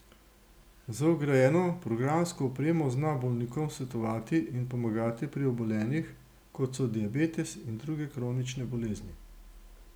Z vgrajeno programsko opremo zna bolnikom svetovati in pomagati pri obolenjih, kot so diabetes in druge kronične bolezni.